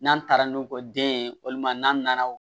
N'an taara n'u kɔ den ye walima n'an nana